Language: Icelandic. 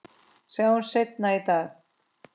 Sjáumst seinna í dag